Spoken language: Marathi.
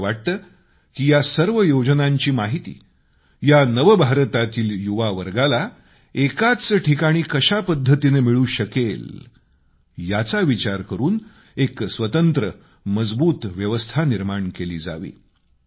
मला वाटतं की या सर्व योजनांची माहिती या नव भारतातील युवावर्गाला एकाच स्थानी कशा पद्धतीनं मिळू शकेल याचा विचार करून एक स्वतंत्र मजबूत व्यवस्था निर्माण केली जावी